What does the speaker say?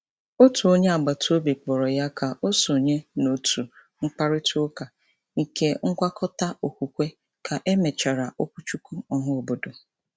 Otu onye agbataobi kpọrọ ya ka o sonye n’òtù mkparịtaụka nke ngwakọta okwukwe ka e mechara okwuchukwu ọhaobodo.